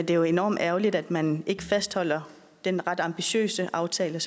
jo enormt ærgerligt at man ikke fastholder den ret ambitiøse aftale